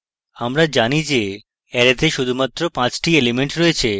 আমরা জানি যে অ্যারেতে শুধুমাত্র 5 টি elements রয়েছে